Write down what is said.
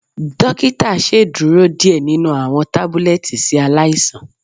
Dokita ṣeduro diẹ ninu awọn tabulẹti si alaisan.